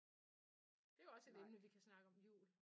Det er jo også et emne vi kan snakke om: jul